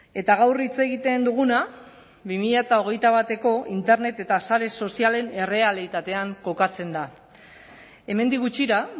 eta gaur hitz egiten duguna bi mila hogeita bateko internet eta sare sozialen errealitatean kokatzen da hemendik gutxira